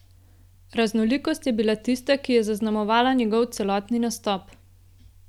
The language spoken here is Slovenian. Raznolikost je bila tista, ki je zaznamovala njegov celotni nastop.